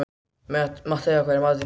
Matthea, hvað er í matinn?